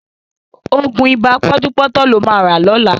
Ògùn ibà pọ́njúpọ́tọ̀ ló ma rà lọ́la